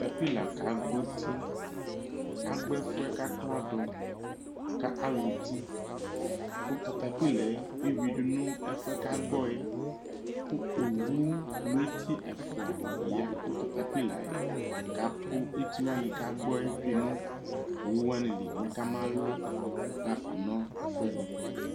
Katapila kagbɔ uti, agbɔ ɛfuɛ k'akladʋ kʋ aha ʋti kʋ katapila yɛ eyuidu nʋ ɛfuɛ kagbɔ yɛ kʋ owu lʋ eti ɛfua ya kʋ katapila yɛ kakʋ eti wani kagbɔ yɛ tsoe nʋ owuwani mɛ kamalʋ hafa nʋ ɛfʋɛdi